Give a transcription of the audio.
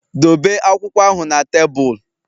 Dobe akwụkwọ ahụ na tebụl!